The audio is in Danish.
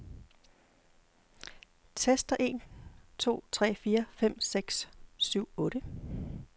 Tester en to tre fire fem seks syv otte.